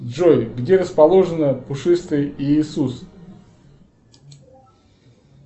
джой где расположен пушистый иисус